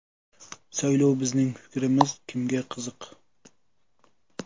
Saylov: bizning fikrimiz kimga qiziq?.